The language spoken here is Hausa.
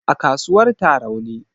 A kasuwar Tarauni